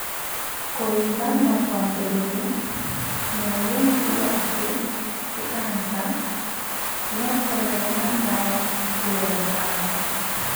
Kũimba no kwambĩrĩrie, na ũguo nĩ kuga atĩ ti kanja, no kwaregana na ndawa nĩ kuga nĩ kanja